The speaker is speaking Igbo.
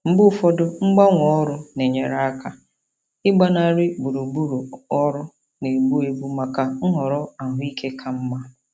Mgbe ụfọdụ mgbanwe ọrụ na-enyere aka ịgbanarị gburugburu ọrụ na-egbu egbu maka nhọrọ ahụike ka mma.